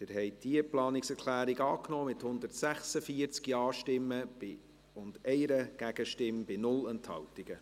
Sie haben die Planungserklärung 3 angenommen, mit 146 Ja-Stimmen gegen 1 NeinStimme bei 0 Enthaltungen.